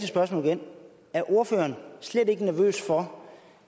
spørgsmålet igen er ordføreren slet ikke nervøs for